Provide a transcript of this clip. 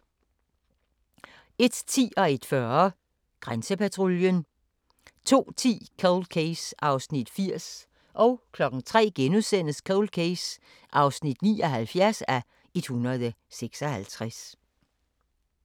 00:35: TV 2 Listen 01:10: Grænsepatruljen 01:40: Grænsepatruljen 02:10: Cold Case (80:156) 03:00: Cold Case (79:156)*